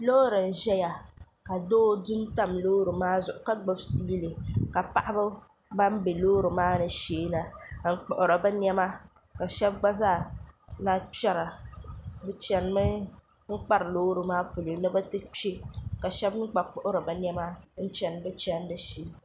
loori n ʒɛya ka doo du n tam loori maa zuɣu ka gbubi fiili ka paɣaba ban bɛ loori maa ni sheena n kpuɣiri bi niɛma ka shab gba zaa lahi kpɛra bi chɛnimi n kpari loori maa polo ni bi ti kpɛ ka shab gba mii kpuɣiri bi niɛma ni bi ti kpɛ